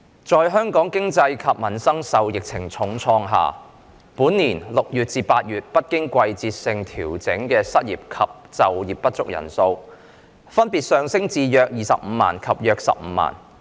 在香港經濟及民生受疫情重創下，本年6月至8月不經季節性調整失業及就業不足人數，分別上升至約25萬及約15萬。